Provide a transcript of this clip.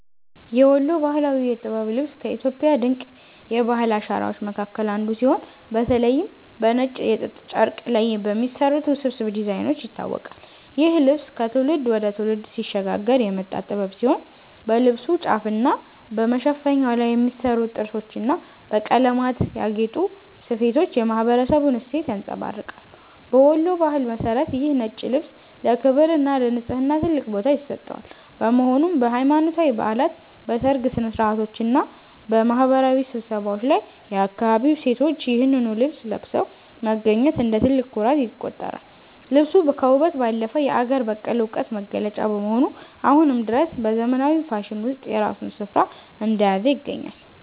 የወሎ ባህላዊ የጥበብ ልብስ ከኢትዮጵያ ድንቅ የባህል አሻራዎች መካከል አንዱ ሲሆን፤ በተለይም በነጭ የጥጥ ጨርቅ ላይ በሚሰሩት ውስብስብ ዲዛይኖች ይታወቃል። ይህ ልብስ ከትውልድ ወደ ትውልድ ሲሸጋገር የመጣ ጥበብ ሲሆን፣ በልብሱ ጫፍና በመሸፈኛው ላይ የሚሰሩት ጥርሶችና በቀለማት ያጌጡ ስፌቶች የማኅበረሰቡን እሴት ያንጸባርቃሉ። በወሎ ባህል መሠረት ይህ ነጭ ልብስ ለክብርና ለንጽሕና ትልቅ ቦታ ይሰጠዋል፤ በመሆኑም በሃይማኖታዊ በዓላት፣ በሰርግ ሥነ-ሥርዓቶችና በማኅበራዊ ስብሰባዎች ላይ የአካባቢው ሴቶች ይህንኑ ልብስ ለብሰው መገኘት እንደ ትልቅ ኩራት ይቆጠራል። ልብሱ ከውበት ባለፈ የአገር በቀል ዕውቀት መገለጫ በመሆኑ፣ አሁንም ድረስ በዘመናዊው ፋሽን ውስጥ የራሱን ስፍራ እንደያዘ ይገኛል።